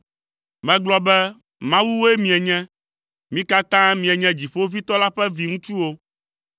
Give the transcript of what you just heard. “Megblɔ be, ‘Mawuwoe mienye; mi katã mienye Dziƒoʋĩtɔ la ƒe viŋutsuwo’,